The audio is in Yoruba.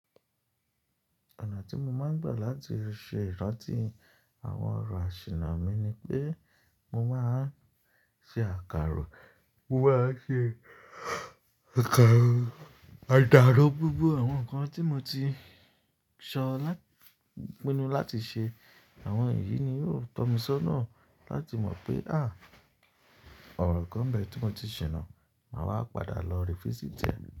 Ọ̀nà tí mo máa ń gbà láti ṣe ìrántí àwọn ọ̀rọ̀ àṣìná mi ni pé mo máa ń ṣe àkàró, mo máa ṣe àkàró, àdàrò gbogbo àwọn nǹkan tí mo ti sọ pínnú láti ṣe. Àwọn èyí ni yóò tọ́ mi sọ́nà láti mọ̀ pé, àh! Ọ̀rọ̀ kàn bẹ́ẹ̀ tí mo ti ṣìná, màá wá padà lọ se atunyewo rẹ́.